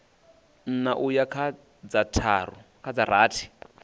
nṋa uya kha dza rathi